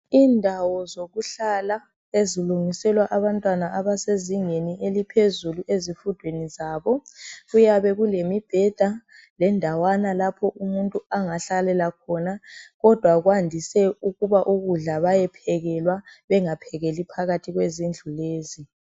Indawo zokuhlala ezilungiselwa abantwana abasezingeni eliphezulu ezifundweni zabo, kuyabe kulemibheda, lendawana lapho umuntu angahlalela khona, kodwa kwandise ukuba ukudla bayephekelwa bengaphekeli phakathi kwezindlu lezi.